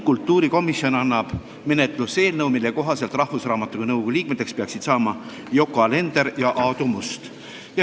Kultuurikomisjon annab menetlusse eelnõu, mille kohaselt peaksid Rahvusraamatukogu nõukogu liikmeteks saama Yoko Alender ja Aadu Must.